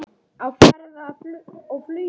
Á ferð og flugi